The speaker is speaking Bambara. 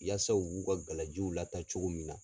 Yasa u b'u gala jiw lataa cogo min na.